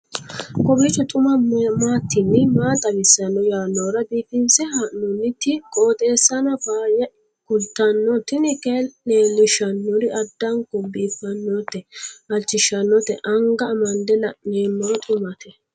kowiicho xuma mtini maa xawissanno yaannohura biifinse haa'noonniti qooxeessano faayya kultanno tini kayi leellishshannori addanko biiffannote halchishshannote anga amande la'noommero xumate